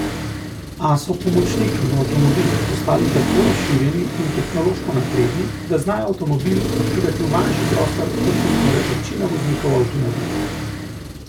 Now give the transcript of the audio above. A so pomočniki v avtomobilih postali tako razširjeni in tehnološko napredni, da znajo avtomobil parkirati v manjši prostor, kot to zmore večina voznikov avtomobilov.